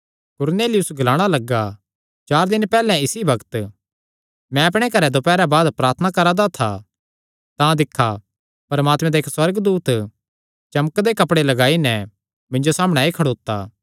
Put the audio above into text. कुरनेलियुस ग्लाणा लग्गा चार दिन पैहल्ले इसी बग्त मैं अपणे घरैं दोपैरा बाद प्रार्थना करा दा था तां दिक्खा परमात्मे दा इक्क सुअर्गदूत चमकदे कपड़े लगाई नैं मिन्जो सामणै आई खड़ोता